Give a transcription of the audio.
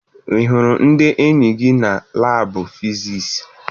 Ị hụrụ ndị enyi gị na laabụ fisiisi?